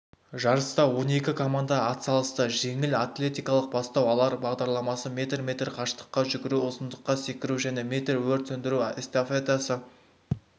жарыста он екі команда атсалысты жеңіл атлетиканың бастау алар бағдарламасы метр метр қашықтыққа жүгіру ұзындыққа секіру және метр өрт сөндіру эстафетасы